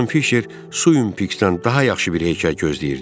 Xanım Fişer Suympiks'dən daha yaxşı bir hekayə gözləyirdim.